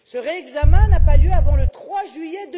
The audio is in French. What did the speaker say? Ce réexamen n'aura pas lieu avant le 3 juillet